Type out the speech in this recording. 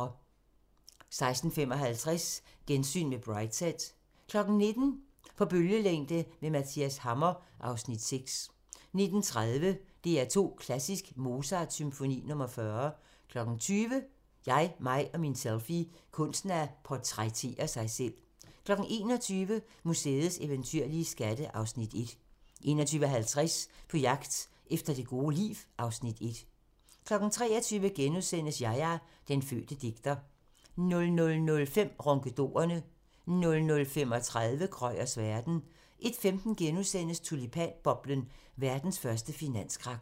16:55: Gensyn med Brideshead 19:00: På bølgelængde med Mathias Hammer (Afs. 6) 19:30: DR2 Klassisk: Mozart Symfoni nr. 40 20:00: Jeg, mig og min selfie – Kunsten at portrættere sig selv 21:00: Museets eventyrlige skatte (Afs. 1) 21:50: På jagt efter det gode liv (Afs. 1) 23:00: Yahya – Den fødte digter * 00:05: Ronkedorerne 00:35: Krøyers verden 01:15: Tulipanboblen - verdens første finanskrak *